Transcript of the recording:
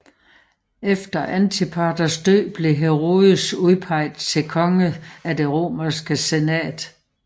Efter Antipaters død blev Herodes udpeget til konge af Det romerske Senat